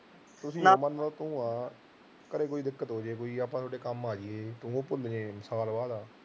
ਮੰਨ ਲੈ ਤੂੰ ਐ ਘਰੇ ਕੋਈ ਦਿਕਤ ਐ ਆਪਾਂ ਤੇਰੇ ਕੰਮ ਆ ਜਾਈਏ ਤੂੰ ਭੁਲ ਜੇ ਸਾਲ ਬਾਅਦ